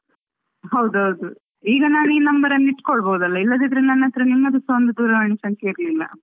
ಹೌದೌದು ಈಗ ನಾನು ಈ number ಅನ್ನು ಇಟ್ಕೊಳ್ಬಹುದು ಅಲ ಇಲ್ಲದಿದ್ರೆ ನನ್ನತ್ರ ನಿಮ್ಮದು ಸಹ ಒಂದು ದೂರವಾಣಿ ಸಂಖ್ಯೆ ಇರಲಿಲ್ಲ.